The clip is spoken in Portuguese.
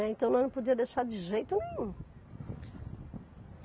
Então nós não podia deixar de jeito nenhum.